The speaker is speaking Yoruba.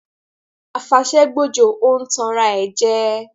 A fàṣẹ gbòjò ń tàn ara rẹ jẹ